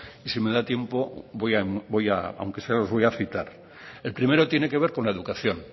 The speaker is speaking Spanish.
y si me da tiempo voy aunque sea los voy a citar el primero tiene que ver con la educación